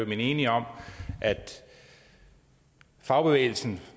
man enig om at fagbevægelsen